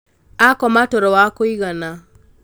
akoma toro wa kũigana